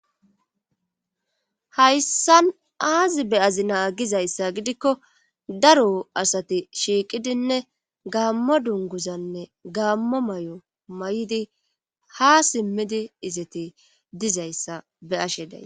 Hayssan aazi be7azi naa gizayssa gidikko daro asati shiiqidinne gaammo dunguzanne gaammo may7o may7di ha simmidi izete dizayssa be7ashe day.